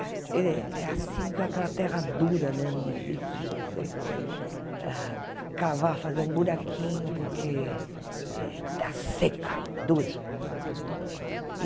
É, é assim que aquela terra dura mesmo, difícil de você ah cavar, fazer um buraquinho, porque eh está seca, dura.